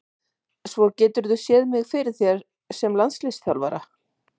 Svo geturðu séð mig fyrir þér sem landsliðsþjálfara?